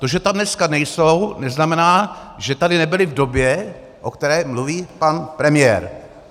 To, že tam dneska nejsou, neznamená, že tady nebyli v době, o které mluví pan premiér.